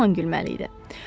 Yaman gülməli idi.